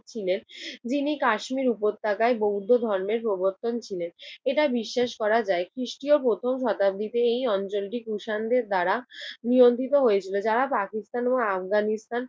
ছিলেন। যিনি কাশ্মীর উপত্যকায় বৌদ্ধ ধর্মের প্রবর্তক ছিলেন। এটা বিশ্বাস করা যায়, খ্রিষ্টীয় প্রথম শতাব্দীতে এই অঞ্চলটি কৃষাণের দ্বারা নিয়ন্ত্রিত হয়েছিল। যারা পাকিস্তান ও আফগানিস্তান